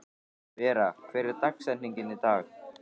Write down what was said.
Vera, hver er dagsetningin í dag?